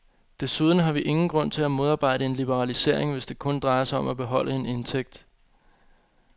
Desuden har vi ingen grund til at modarbejde en liberalisering, hvis det kun drejer sig om at beholde en indtægt.